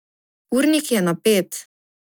Urnik je napet.